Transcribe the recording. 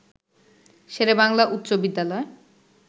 শেরে বাংলা উচ্চ বিদ্যালয়